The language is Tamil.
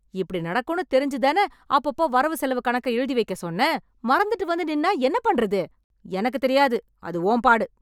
இப்டி நடக்கும்னு தெரிஞ்சுதானே அப்பப்போ வரவு செலவு கணக்கை எழுதி வைக்க சொன்னேன்.... மறந்துட்டு வந்து நின்னா என்ன பண்றது? எனக்கு தெரியாது... அது உன் பாடு.